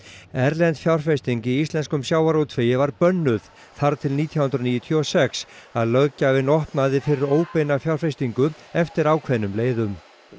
erlend fjárfesting í íslenskum sjávarútvegi var bönnuð þar til nítján hundruð níutíu og sex að löggjafinn opnaði fyrir óbeina fjárfestingu eftir ákveðnum leiðum